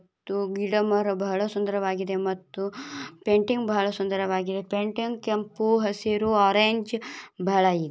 ಇದು ಗಿಡ ಮರ ಬಹಳ ಸುಂದರವಾಗಿದೆ. ಮತ್ತು ಪೇಂಟಿಂಗ್ ಬಹಳ ಸುಂದರವಾಗಿದೆ. ಪೇಂಟಿಂಗ್ ಕೆಂಪು ಹಸಿರು ಆರೆಂಜ್ ಬಹಳಯಿ--